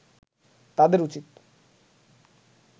তাদের উচিৎ